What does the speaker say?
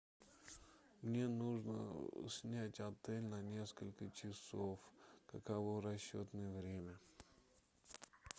мне нужно снять отель на несколько часов каково расчетное время